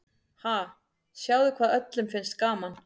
Ha, sjáðu hvað öllum finnst gaman.